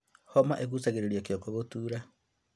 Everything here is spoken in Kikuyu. Homa ĩcũngagĩrĩria kĩongo gũtuura